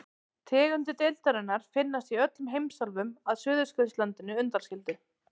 Tegundir deildarinnar finnast í öllum heimsálfum að Suðurskautslandinu undanskildu.